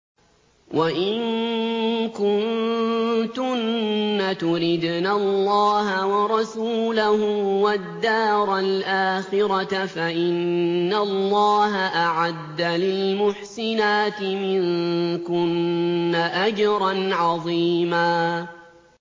وَإِن كُنتُنَّ تُرِدْنَ اللَّهَ وَرَسُولَهُ وَالدَّارَ الْآخِرَةَ فَإِنَّ اللَّهَ أَعَدَّ لِلْمُحْسِنَاتِ مِنكُنَّ أَجْرًا عَظِيمًا